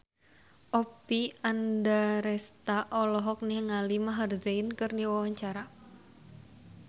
Oppie Andaresta olohok ningali Maher Zein keur diwawancara